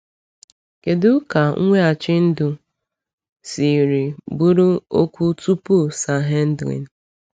Kedu ka mweghachi ndụ siri bụrụ okwu tupu Sanhedrin?